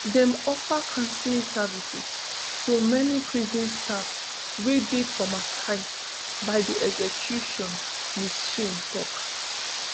dem offer counselling services to any prison staff wey dey traumatised by di execution ms shain tok